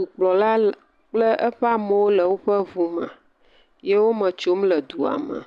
Dukplɔla le kple eƒe amewo le woƒe ŋu me ye wo eme tsom le dua me.